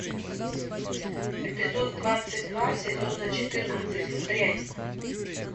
эпизод двадцать два сезона четырнадцать дрянь